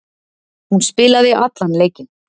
Hún spilaði allan leikinn.